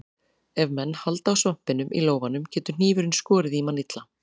Ef menn halda á svampinum í lófanum getur hnífurinn skorið mann illa.